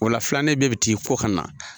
O la filanden bɛɛ bɛ t'i ko ka na.